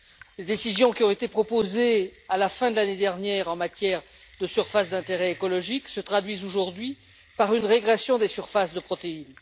Les décisions qui ont été proposées à la fin de l'année dernière en matière de surfaces d'intérêt écologique se traduisent aujourd'hui par une régression des surfaces de protéines.